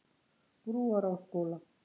Brúarásskóla